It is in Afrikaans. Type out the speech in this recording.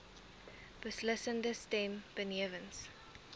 beslissende stem benewens